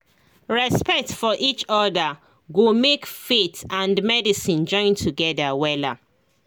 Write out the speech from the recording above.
respect for each other go make faith and medicine join together wella